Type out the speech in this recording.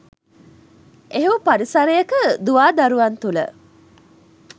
එහෙව් පරිසරයක දුවා දරුවන් තුළ